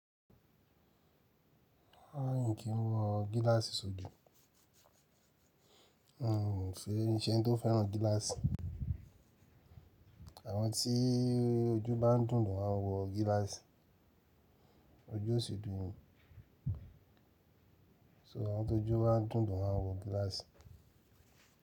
Rara n kín wọ gíláàsì sójú. N se- ṣe n tí o fẹ́ràn gíláàsì. Àwọn tí ojú bá n dún lo maa n wọ gíláàsì. Ojú o sì dùn mi So àwọn tó ojú ba n dún lo maa n wọ gíláàsì.